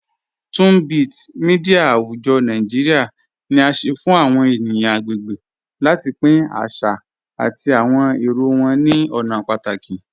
Tunbit, mídia àwùjọ̀ Nàìjíríà, ni à sẹ fun àwọn ènìyàn agbègbè láti pín àṣà àti àwọn èrò wọn ni ọ̀nà pátàkì.